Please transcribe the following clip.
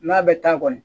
N'a bɛ taa kɔni